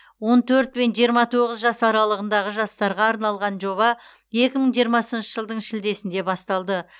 он төрт пен жиырма тоғыз жас аралығындағы жастарға арналған жоба екі мың жиырмасыншы жылдың шілдесінде басталды